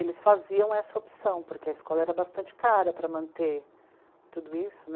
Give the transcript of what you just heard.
Eles faziam essa opção, porque a escola era bastante cara para manter tudo isso, né?